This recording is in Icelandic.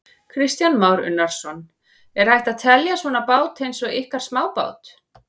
Kristján Már Unnarsson: Er hægt að telja svona bát eins og ykkar smábát?